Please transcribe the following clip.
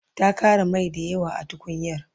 ta Ƙara Mai dayawa a tukunyar